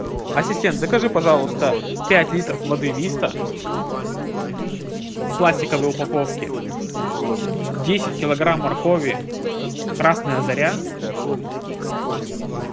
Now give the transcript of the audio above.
ассистент закажи пожалуйста пять литров воды виста в пластиковой упаковке десять килограмм моркови красная заря